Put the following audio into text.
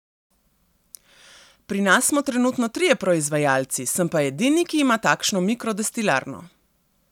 Pri nas smo trenutno trije proizvajalci, sem pa edini, ki ima takšno mikro destilarno.